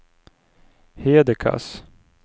Hedekas